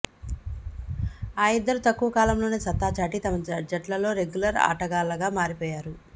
ఆ ఇద్దరు తక్కువ కాలంలోనే సత్తాచాటి తమ జట్లలో రెగ్యులర్ ఆటగాళ్లగా మారిపోయారు